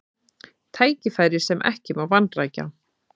Tækifæri sem ekki má vanrækja